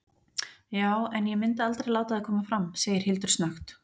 Já- en ég myndi aldrei láta það koma fram, segir Hildur snöggt.